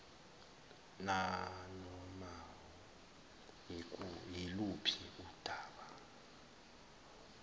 nanoma yiluphi udaba